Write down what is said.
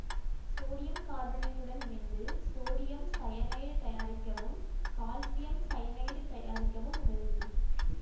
sodium கார்பனேட்டுடன் இணைத்து sodium cyanide தயாரிக்கவும் கால்சியம் சயனைடு தயாரிக்கவும் உதவுகிறது